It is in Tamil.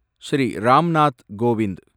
ஸ்ரீ ராம் நாத் கோவிந்த்